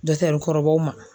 kɔrɔbaw ma.